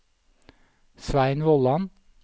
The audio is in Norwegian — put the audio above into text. Svein Vollan